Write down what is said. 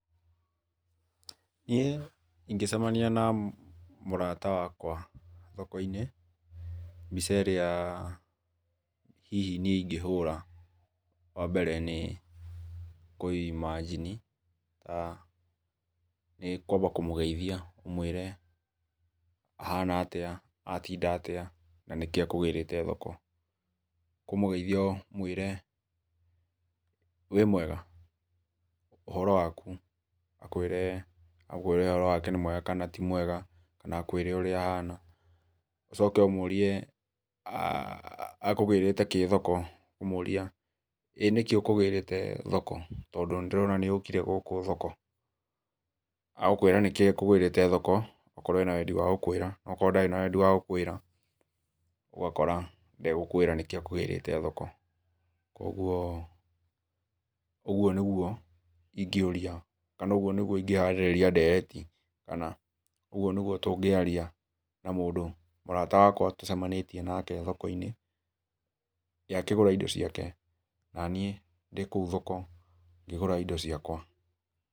Niĩ ingĩcemania na mũrata wakwa thoko-inĩ, mbica ĩrĩa hihi niĩ ingĩhũra, wambere nĩ kũimanjini, nĩ kwamba kũmũgeithia, ndĩmwĩre kũhana atĩa, atinda atĩa na nĩkĩĩ ekũgĩrĩte thoko. Ũkũmũgeithia, ũmwĩre, 'Wĩmwega? ũhoro waku?' Akwĩre ũhoro wake nĩ mwega, kana ti mwega, na akwĩre ũrĩa ahana, ũcoke ũmũrie ekũgĩrĩte kĩ thoko, ũkũmũria, 'Ĩ nĩkĩĩ ũkũgĩrĩte thoko tondũ nĩndĩrona nĩ ũkire gũkũ thoko?' Agũkwĩra nĩkĩĩ ekũgĩrĩte thoko, akorwo na wendi wa gũkwĩra. Akorwo ndarĩ na wendi wa gũkwĩra ũgakora ndegũkwĩra nĩkĩĩ ekũgĩrĩte thoko. Ũguo, ũguo nĩguo ingĩũria kana ũguo nĩguo ingĩharĩrĩria ndereti, kana ũguo nĩguo tũngĩaria na mũndũ mũrata wakwa tũcemanĩtie nake thoko-inĩ, we akĩgũra indo ciake, naniĩ ndĩkũu thoko ngĩgũra indo ciakwa.